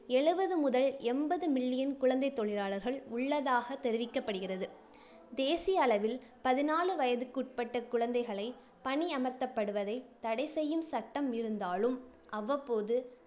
எழுவது முதல் எண்பது million குழந்தைத் தொழிலாளர்கள் உள்ளதாக தெரிவிக்கப்படுகிறது. தேசிய அளவில் பதினாலு வயதுக்குட்பட்ட குழந்தைகளை பணியமர்த்தப்படுவதை தடை செய்யும் சட்டம் இருந்தாலும், அவ்வப்போது